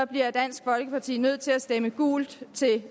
bliver dansk folkeparti nødt til at stemme gult til